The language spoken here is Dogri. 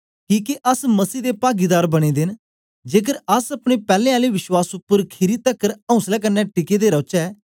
किके अस मसीह दे पागीदार बनें दे न जेकर अस अपने पैलैं आले विश्वास उपर खीरी तकर औसले कन्ने टिके दे रौचै